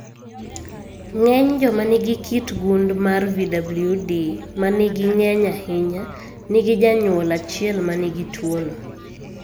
Ng'eny joma nigi kit gund mar VWD ma nigi ng'eny ahinya, nigi janyuol achiel ma nigi tuwono.